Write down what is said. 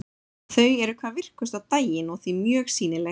Þau eru hvað virkust á daginn og því mjög sýnileg.